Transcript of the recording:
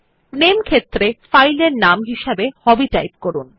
নামে ক্ষেত্রে ফাইল এর নাম হিসাবে হবি টাইপ করুন